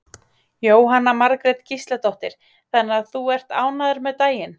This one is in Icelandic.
Jóhanna Margrét Gísladóttir: Þannig að þú ert ánægður með daginn?